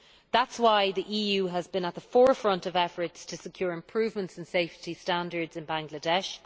That is why the EU has been at the forefront of efforts to secure improvements in safety standards in Bangladesh.